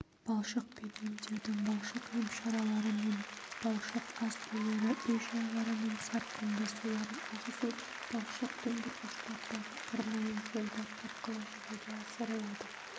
балшықпен емдеудің балшық емшаралары мен балшық ас үйлері үй-жайларының сарқынды суларын ағызу балшық тұндырғыштардағы арнайы жолдар арқылы жүзеге асырылады